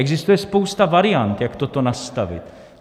Existuje spousta variant, jak toto nastavit.